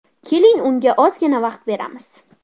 Keling, unga ozgina vaqt beramiz.